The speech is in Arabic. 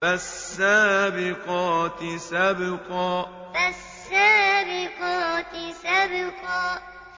فَالسَّابِقَاتِ سَبْقًا فَالسَّابِقَاتِ سَبْقًا